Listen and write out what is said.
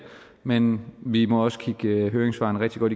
men vi må også kigge høringssvarene rigtig godt